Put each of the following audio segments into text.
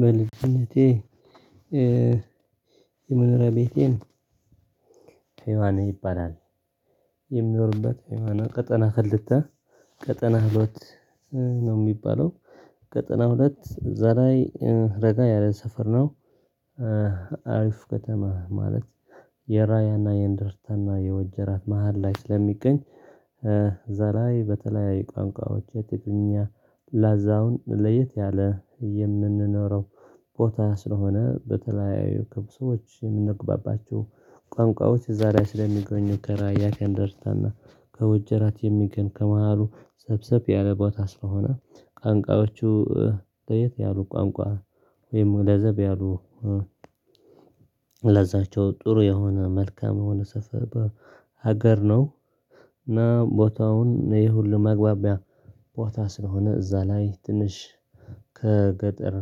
በልጅነቴ የመኖሪያ ቤቴን ሄዋና ይባላል የምኖርበት ሃይማኖት ቀጠና ክልተ ቀጠና ሁለት ነው የሚባለው ቀጠና ሁለት እዛላይ ረጋ ያለ ሰፈር ነው። አሪፍ ከተማ ማለት የራያና የእንደርታና የወጀራት መሃል ላይ ስለሚገኝ። በዛላይ በተለያዩ ቋንቋዎች የትግረኛ ላዛውን ለየት ያለ የምንኖረው ቦታ ስለሆነ በተለያዩ ክብሶች የምንግባባቸው ቋንቋዎች እዛላይ ስለሚገኙ ከራያ ከእንደርታና ከወጀራት የሚገኝ ከመሃሉ ሰብሰብ ያለ ቦታ ስለሆነ። ቋንቋዎቹ በየት ያሉ ቋንቋ ወይም ለዘብ ያሉ ለዛቸው ጥሩ የሆነ መልካም የሆነ ሰፈ በሀገር ነው። ቦታውን ይሄ ሁሉ መግባቢያ ቦታ ስለሆነ እዛ ላይ ትንሽ ከገጠር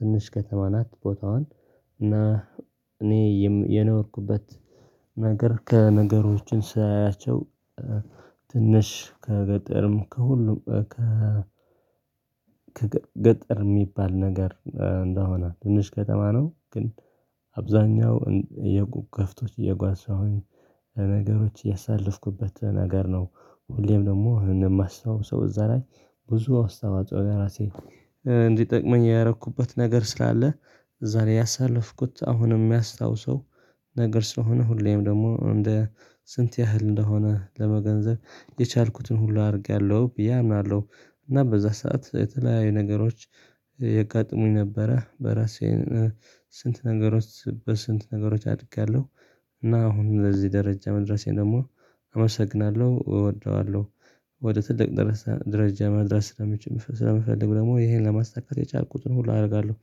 ትንሽ ከተማ ናት። ቦታዋን እና እኔ የኖርኩበት ነገር ከነገሮችን ሳያያቸው ትንሽ ከገጠርም ከሁሉም ከ ከገጠር የሚባል ነገር እንደሆነ ትንሽ ከተማ ነው። ግን አብዛኛው የከብቶች እየጓዛሁኝ ነገሮች ያሳለፍኩበት ነገር ነው። ሁሌም ደግሞ ይሄንን ማስታወስ ሰው እዛ ላይ ብዙ አስተዋጽኦ ራሴ እንዲጠቅመኝ ያደረኩበት ነገር ስላለ እዛ ላይ ያሳለፍኩት አሁንም የሚያስታውሰው ነገር ስለሆነ ሁሌም ደግሞ እንደ ስንት ያህል እንደሆነ ለመገንዘብ የቻልኩትን ሁሉ አድርጊያለሁ ብዬ አምናለሁ። እና በዛ ሰዓት የተለያዩ ነገሮች የጋጥሙኝ ነበረ። በራሴ ስንት ነገሮች በስንት ነገሮች አድጊለሁ። እና አሁን ለዚህ ደረጃ መድረሴን ደግሞ አመሰግናለሁ እወደዋለሁ። ወደ ትልቅ ደረጃ መድረስ ስለምችል ስለምፈልግ ደግሞ ይሄን ለማስተካከል የቻልኩትን ሁሉ አደርጋለሁ።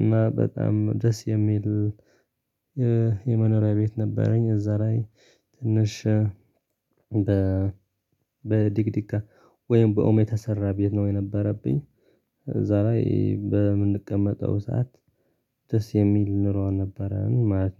እና በጣም ደስ የሚል የመኖሪያ ቤት ነበረኝ እዛ ላይ ትንሽ በ በዲቅዲቃ ወይም በኦሜታ የተሰራ ቤት ነው የነበረብኝ። እዛ ላይበ። በምንቀመጠው ሰዓት ደስ የሚል ኑሮ ነበረን ማለት ነው